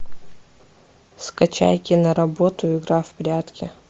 скачай киноработу игра в прятки